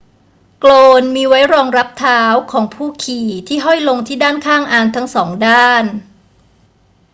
โกลนมีไว้รองรับเท้าของผู้ขี่ที่ห้อยลงที่ด้านข้างอานทั้งสองด้าน